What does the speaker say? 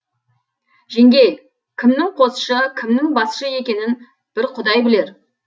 жеңгей кімнің қосшы кімнің басшы екенін бір құдай білер